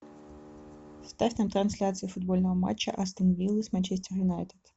ставь на трансляцию футбольного матча астон виллы с манчестер юнайтед